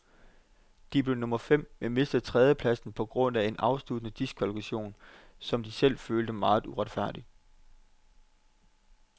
De blev nummer fem, men mistede tredjepladsen på grund af en afsluttende diskvalifikation, som de selv følte meget uretfærdig.